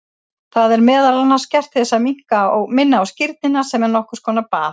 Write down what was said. Það er meðal annars gert til að minna á skírnina sem er nokkur konar bað.